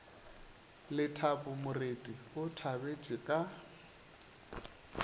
lethabo moreti o thabetše ka